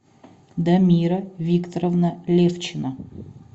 дамира викторовна левчина